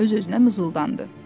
öz-özünə mızıldandı.